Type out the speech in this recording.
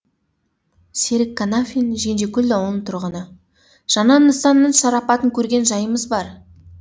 серік қанафин кенжекөл ауылының тұрғыны жаңа нысанның шарапатын көрген жайымыз бар